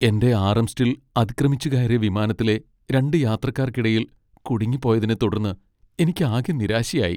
എന്റെ ആംറെസ്റ്റിൽ അതിക്രമിച്ചുകയറിയ വിമാനത്തിലെ രണ്ട് യാത്രക്കാർക്കിടയിൽ കുടുങ്ങിപ്പോയതിനെത്തുടർന്ന് എനിക്കാകെ നിരാശയായി .